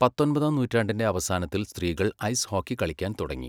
പത്തൊൻപതാം നൂറ്റാണ്ടിന്റെ അവസാനത്തിൽ സ്ത്രീകൾ ഐസ് ഹോക്കി കളിക്കാൻ തുടങ്ങി.